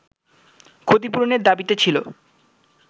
ক্ষতিপূরণের দাবিতে ছিল